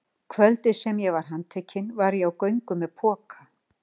Kvöldið sem ég var handtekinn var ég á göngu með poka.